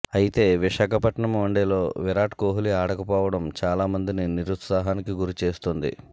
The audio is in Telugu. అయితే విశాఖపట్నం వన్డేలో విరాట్ కోహ్లీ ఆడకపోవడం చాలా మందిని నిరుత్సాహానికి గురి చేస్తోంది